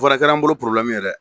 O Fɛnɛ kɛr'an bolo porobilɛmu ye dɛ